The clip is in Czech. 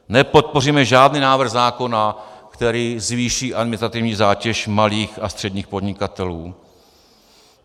Nepodpoříme žádný návrh zákona, který zvýší administrativní zátěž malých a středních podnikatelů.